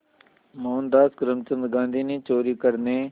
मोहनदास करमचंद गांधी ने चोरी करने